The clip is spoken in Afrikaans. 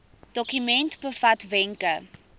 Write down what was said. dokument bevat wenke